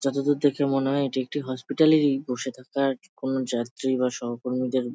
যতদুর দেখে মনে হয় এটি একটি হসপিটাল এরই বসে থাকার কোন যাত্রী বা সহ কর্মীদের--